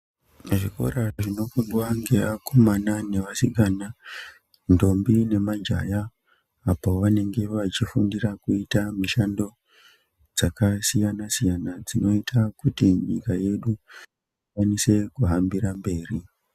Zvikora zvinofundwa ngeakomana nevasikana, ndombi nemajaya ,apo vanenge vechifundira kuita mishando, dzakasiyana-siyana ,dzinoita kuti nyika yedu ikwanise kuhambira mberi.